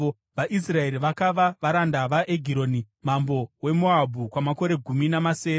VaIsraeri vakava varanda vaEgironi mambo weMoabhu kwamakore gumi namasere.